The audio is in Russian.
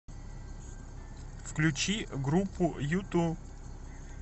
включи группу юту